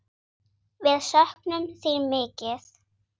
Við söknum þín mikið.